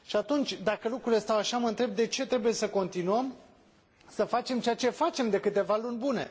Și atunci, dacă lucrurile stau așa, mă întreb de ce trebuie să continuăm să facem ceea ce facem de câteva luni bune.